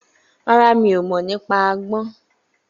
Rárá, mi ò mọ̀ nípa àgbọn